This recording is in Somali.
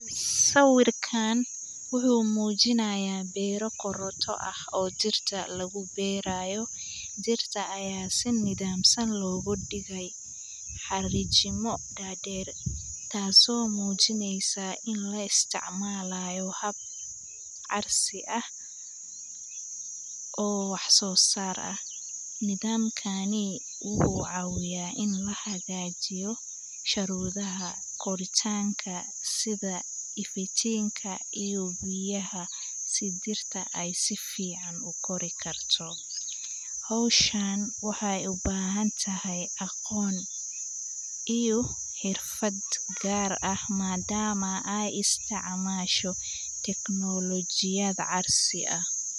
Sawirkan waxu mujinaya beera qoroto ah oo dirta lagu beerayoh, dirta Aya si nathamsan lagu digay xarijimi dadeer taas oo mujineysoh ini la isticmalayo oo hada casrsi ah oo wax sosar ah nimathamkani waxu cawiyah ini hagajiyoh sharwathayasha kuthabqoritanga sitha efijinka iyo biyaha si dirta ay sifican u korikartoh hooshan waxay u bahantahay e aqoon iyo xerfadeh gaarvah madama Aya isticmashoh technology casri ah.